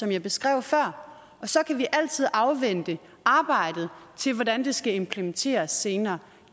jeg beskrev før så kan vi altid afvente arbejdet til hvordan det skal implementeres senere